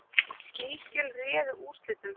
Ný skjöl réðu úrslitum